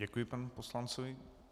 Děkuji panu poslanci.